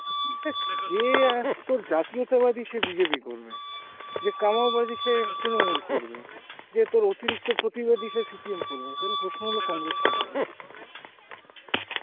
দেখ যে অ্যাঁ তোর জাতীয়তা বাদী সে BJP করবে, যে কমাও বাদী, সে তৃনমূল করবে, যে তর অতিরিক্ত প্রতিবাদী সে CPM করবে, তাহলে প্রশ্ন হলো congress কে করব